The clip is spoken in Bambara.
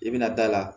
I bɛna da la